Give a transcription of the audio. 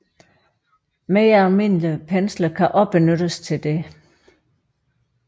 Mere almindelige pensler kan også benyttes til dette